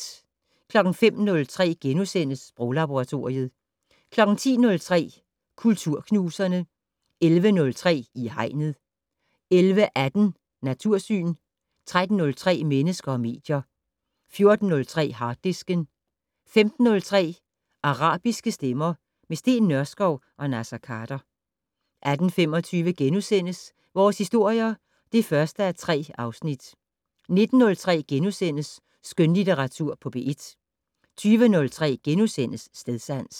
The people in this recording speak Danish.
05:03: Sproglaboratoriet * 10:03: Kulturknuserne 11:03: I Hegnet 11:18: Natursyn 13:03: Mennesker og medier 14:03: Harddisken 15:03: Arabiske stemmer - med Steen Nørskov og Naser Khader 18:25: Vores historier (1:3)* 19:03: Skønlitteratur på P1 * 20:03: Stedsans *